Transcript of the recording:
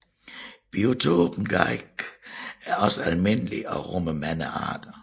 Biotopen Garrigue er også almindelig og rummer mange arter